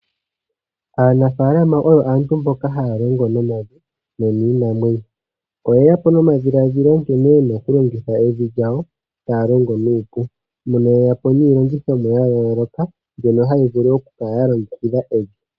Aanafalama oyo haalongo nomavi no niimwanyemo. Oyeya po nomadhiladhilo gene yena oku longitha evi lyawo , taa longo nuupu. Mpono ye yapo niilongitho ya yooloka, mbyono hayi vulu oku kala ya longekidha evi.